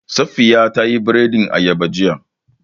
Safiya ta yi biredin ayaba jiya